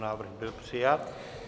Návrh byl přijat.